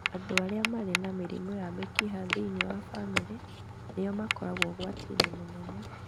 Andũ arĩa marĩ na mĩrimũ ya mĩkiha thĩinĩ wa bamĩrĩ nĩo makoragwo ũgwati-inĩ mũnene.